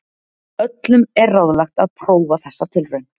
Öllum er ráðlagt að prófa þessa tilraun.